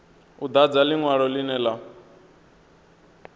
u dadza linwalo linwe na